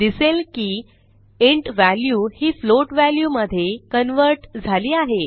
दिसेल की int value ही फ्लोट वॅल्यू मधे कन्व्हर्ट झाली आहे